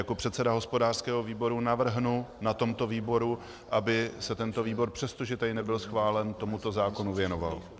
Jako předseda hospodářského výboru navrhnu na tomto výboru, aby se tento výbor, přestože tady nebyl schválen, tomuto zákonu věnoval.